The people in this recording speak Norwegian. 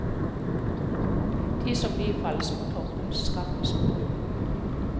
De som bifalles på toppen, straffes på bunnen.